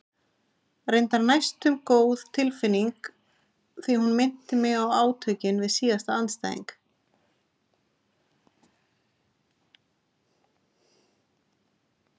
Reyndar næstum góð tilfinning því hún minnti mig á átökin við síðasta andstæðing.